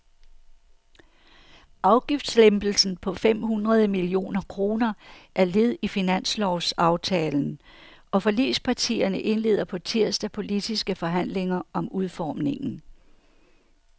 Afgiftslempelsen på fem hundrede millioner kroner er led i finanslovsaftalen, og forligspartierne indleder på tirsdag politiske forhandlinger om udformningen.